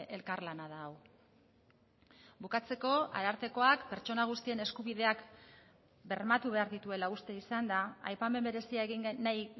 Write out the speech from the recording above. elkarlana da hau bukatzeko arartekoak pertsona guztien eskubideak bermatu behar dituela uste izan da aipamen berezia egin nahi